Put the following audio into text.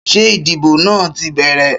Ṣé ìdìbò náà ti bẹ̀rẹ̀?